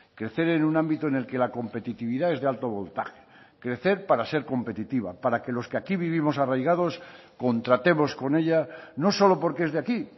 crecer en un ámbito en el que la competitividad es de alto voltaje crecer para ser competitiva para que los que aquí vivimos arraigados contratemos con ella no solo porque es de aquí